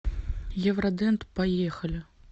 евродент поехали